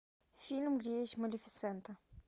фильм где есть малефисента